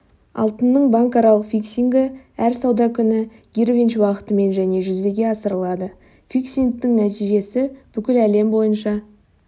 алтынның банкаралық фиксингі әр сауда күні гринвич уақытымен және жүзеге асырылады фиксингтің нәтижесі бүкіл әлем бойынша